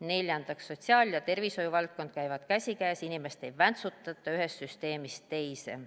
Neljandaks, sotsiaal- ja tervishoiuvaldkond käivad käsikäes, inimest ei väntsutata ühest süsteemist teise.